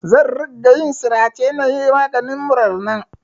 Zan ringa yin sirace na yi maganin murar nan.